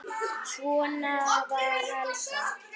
Svona var Helga.